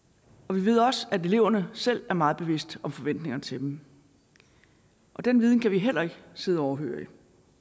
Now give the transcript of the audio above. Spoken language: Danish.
vi ved også at eleverne selv er meget bevidste om forventningerne til dem den viden kan vi heller ikke sidde overhørig